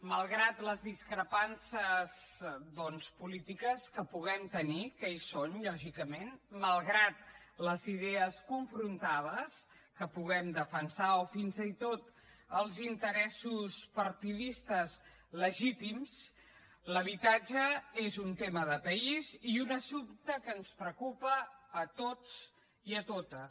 malgrat les discrepàncies doncs polítiques que puguem tenir que hi són lògicament malgrat les idees confrontades que puguem defensar o fins i tot els interessos partidistes legítims l’habitatge és un tema de país i un assumpte que ens preocupa a tots i a totes